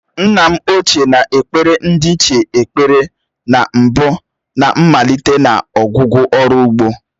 Nna m ochié na-ekpere ndiichie ekpere na mbụ na mmalite na ọgwụgwụ ọrụ ugbo.